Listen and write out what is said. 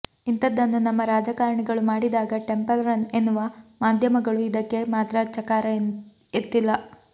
ಇಂಥದ್ದನ್ನು ನಮ್ಮ ರಾಜಕಾರಣಿಗಳು ಮಾಡಿದಾಗ ಟೆಂಪಲ್ ರನ್ ಎನ್ನುವ ಮಾಧ್ಯಮಗಳು ಇದಕ್ಕೆ ಮಾತ್ರ ಚಕಾರ ಎತ್ತಿಲ್ಲ